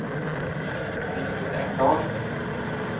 Lisbeth Engdahl